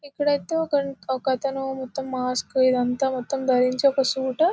ఇక్కడయైతే ఒక ఒకతను మొత్తం మాస్క్ ఇదంతా ధరించి ఒక సూటు .